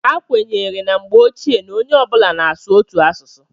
a kwenyere na mgbe ochie na onye ọ bụla na-asụ otu asụsụ